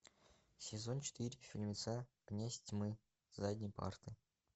сезон четыре фильмеца князь тьмы с задней парты